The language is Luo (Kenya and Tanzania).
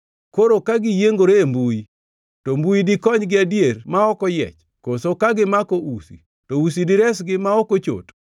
Koro ka giyiengore e mbuyi, to mbuyi dikonygi adier, ma ok oyiech? Koso ka gimako usi, to usi diresgi ma ok ochot.